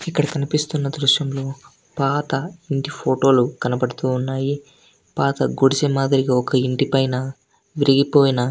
ఇక్కడ చూపిస్తున్న దృశ్యంలో పాత ఇంటి ఫోటోలు కనిపిస్తున్నాయ్ పాత గుడిసె మాద్రి ఇంటి పైన ఇరిగిపోయిన--